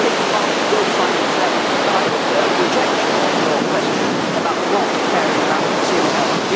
I believe the market will find its level, but I also reject your question about not caring about consumer health.